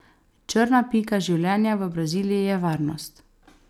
Črna pika življenja v Braziliji je varnost.